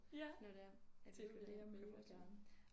Ja det vil jeg mega gerne